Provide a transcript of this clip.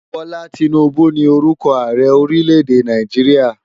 Bola Tinubu ni órùkò àárè órilè-èdé Náijiriá